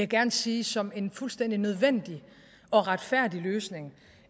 gerne sige som en fuldstændig nødvendig og retfærdig løsning